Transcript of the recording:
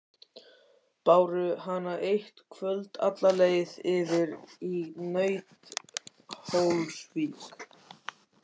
Báru hana eitt kvöld alla leið yfir í Nauthólsvík.